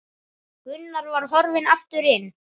Gunnar var horfinn aftur inn.